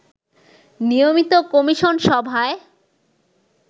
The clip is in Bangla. নিয়মিত কমিশন সভায়